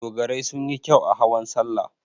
Dogarai sun yi kyau a hawan salla.